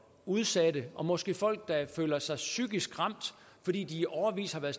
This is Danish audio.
udsatte og måske folk der føler sig psykisk ramt fordi de i årevis har været